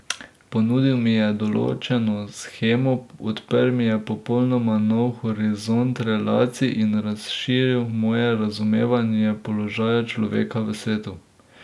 Ponudil mi je določeno shemo, odprl mi je popolnoma nov horizont relacij in razširil moje razumevanje položaja človeka v svetu.